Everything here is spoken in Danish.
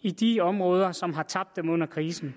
i de områder som har tabt dem under krisen